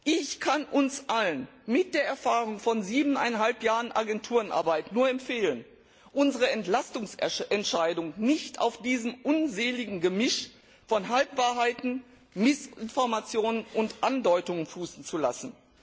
Ich kann uns allen mit der Erfahrung von siebeneinhalb Jahren Agenturenarbeit nur empfehlen, unsere Entlastungsentscheidung nicht auf diesem unseligen Gemisch von Halbwahrheiten, Missinformationen und Andeutungen fußen zu lassen.